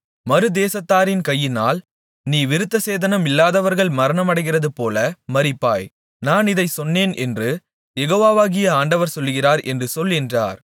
மறுதேசத்தாரின் கையினால் நீ விருத்தசேதனமில்லாதவர்கள் மரணமடைகிறதுபோல மரிப்பாய் நான் இதைச் சொன்னேன் என்று யெகோவாகிய ஆண்டவர் சொல்லுகிறார் என்று சொல் என்றார்